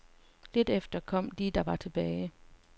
Lidt efter kom de, der var tilbage.